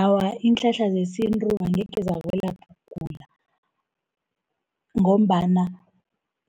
Awa, iinhlahla zesintu angekhe zakwelapha ukugula, ngombana